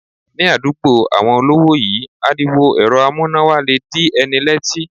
Ní àdúgbò àwọn olówó yí, ariwo èrọ amúnáwa le dí ẹni lẹ́tí.